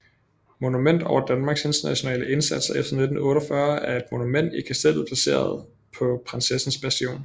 Monument over Danmarks Internationale Indsats efter 1948 er et monument i Kastellet placeret på Prinsessens Bastion